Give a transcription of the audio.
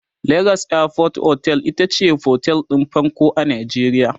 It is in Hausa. legas airport otel itace otel ɗin farko a Najeriya